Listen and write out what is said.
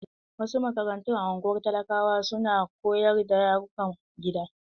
Wasu makarantu a ungwar talakawa su na koyarwa da yarukan gida.